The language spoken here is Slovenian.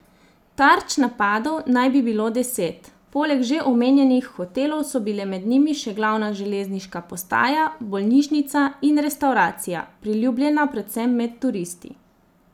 Tarč napadov naj bi bilo deset, poleg že omenjenih hotelov so bile med njimi še glavna železniška postaja, bolnišnica in restavracija, priljubljena predvsem med turisti.